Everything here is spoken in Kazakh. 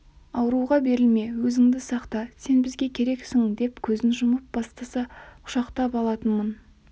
ауруға берілме өзіңді сақта сен бізге керексің деп көзін жұма бастаса-ақ құшақтап алатынмын